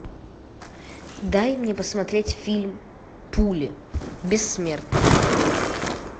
дай мне посмотреть фильм пули бессмертный